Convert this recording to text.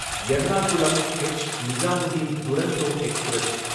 Ernakulam H Nizamuddin Duronto express